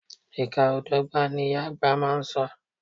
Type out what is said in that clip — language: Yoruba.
Ìka o dọ́gba, ni ìyá àgbà má a so.